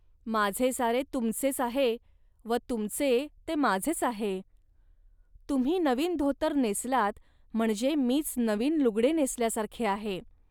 माझे सारे तुमचेच आहे व तुमचे ते माझेच आहे. तुम्ही नवीन धोतर नेसलात म्हणजे मीच नवीन लुगडे नेसल्यासारखे आहे